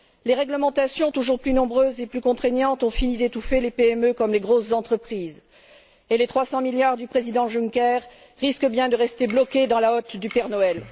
Les réglementations toujours plus nombreuses et plus contraignantes ont fini d'étouffer les PME comme les grosses entreprises, et les 300 milliards du président Juncker risquent bien de rester bloqués dans la hotte du Père Noël.